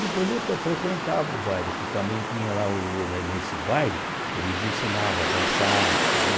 Depois eu ta frequentava o baile, que também tinha lá, o ne nesse baile, eles ensinavam a dançar.